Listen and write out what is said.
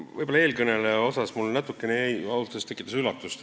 Võib-olla eelkõneleja kohta, kes ausalt öeldes tekitas üllatust.